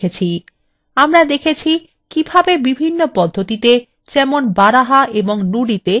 আমরা দেখেছি কিভাবে বিভিন্ন পদ্ধতিতে যেমন baraha এবং nudi তে লেখা যায়